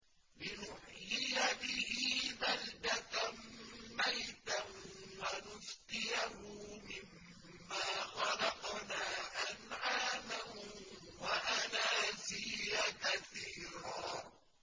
لِّنُحْيِيَ بِهِ بَلْدَةً مَّيْتًا وَنُسْقِيَهُ مِمَّا خَلَقْنَا أَنْعَامًا وَأَنَاسِيَّ كَثِيرًا